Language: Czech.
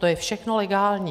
To je všechno legální.